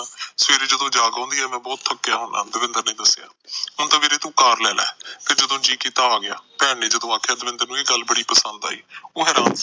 ਸਵੇਰੇ ਜਦੋਂ ਜਾਗ ਆਉਂਦੀ ਐਮੈ ਬਹੁਤ ਥੱਕਿਆ ਹੁੰਦਾ ਦਵਿੰਦਰ ਨੇ ਦੱਸਿਆ ਹੁਣ ਤਾ ਵੀਰੇ ਤੂੰ ਕਾਰ ਲੈਲੈ ਜਦੋ ਜੀਅ ਕੀਤਾ ਤੂ ਆਗਿਆ ਭੈਣ ਜਦੋ ਆਖਿਆ ਦਵਿੰਦਰ ਨੂੰ ਇਹ ਗੱਲ ਬੜੀ ਪਸੰਦ ਆਈ ਉਹ ਹੈਰਾਨ